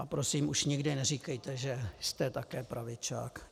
A prosím, už nikdy neříkejte, že jste také pravičák.